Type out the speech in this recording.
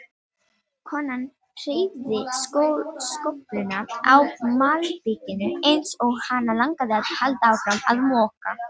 Konan hreyfði skófluna á malbikinu eins og hana langaði að halda áfram að moka.